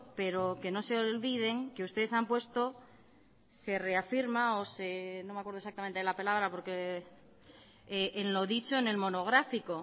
pero que no se olviden que ustedes han puesto se reafirman o se no me acuerdo exactamente de la palabra porque en lo dicho en el monográfico